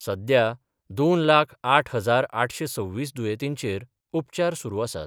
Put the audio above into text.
सध्या दोन लाख आठ हजार आठशे सव्वीस दुयेंतींचेर उपचार सुरू आसात.